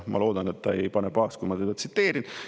Ma loodan, et ta ei pane pahaks, kui ma teda tsiteerin.